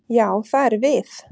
Já, það erum við.